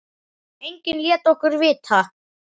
Enginn lét okkur vita.